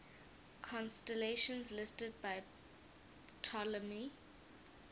constellations listed by ptolemy